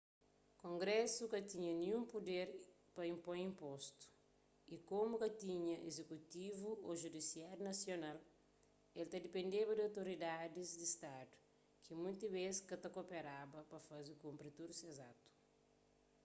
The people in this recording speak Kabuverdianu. kongrésu ka tinha ninhun puder pa inpoi inpostu y komu ka tinha izekutivu ô judisiáriu nasional el ta dipendeba di otoridadis di stadu ki monti bês ka ta koperaba pa faze kunpri tudu ses atu